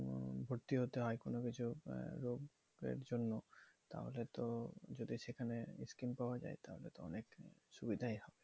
ভর্তি হতে হয় কোনোকিছু আহ রোগের জন্য। তাহলে তো যদি সেখানে scheme পাওয়া যায় তাহলে তো অনেক সুবিধাই।